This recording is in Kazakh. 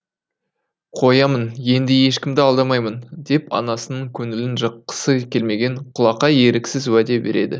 қоямын енді ешкімді алдамаймын деп анасының көңілін жыққысы келмеген құлақай еріксіз уәде береді